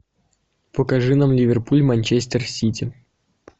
покажи нам ливерпуль манчестер сити